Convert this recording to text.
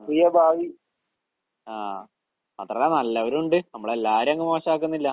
അഹ് ആഹ്. മാത്രല്ല നല്ലവരും ഉണ്ട്. നമ്മളെല്ലാവരെയും അങ്ങ് മോശാക്കുന്നില്ല.